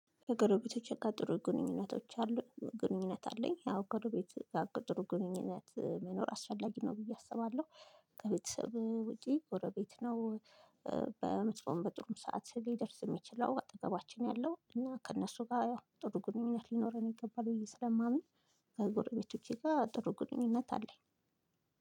ከጎረቤቶቼ ጋር ጥሩ ግንኙነቶች አሉኝ ግንኙነት አለኝ አዎ ጎሮቤቶቼ ጋር ጥሩ ግንኙነት መኖር አስፈላጊ ነው ብዬ አስባለሁ። ከቤተሰብ ውጪ ጎረቤት ነው። በመጥፎም በጥሩም ሰዓት ሊደርስ የሚችለው አጠገባችን ያለው እና ከእነሱ ጋር ጥሩ ግንኙነት ሊኖረን ይገባል ብዬ ስለማምን። ከጎረቤቶቼ ጋር ጥሩ ግንኙነት አለኝ